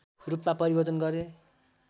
रूपमा परिवर्तन गरे